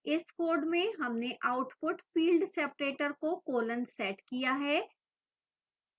इस code में हमने output field separator को colon set किया है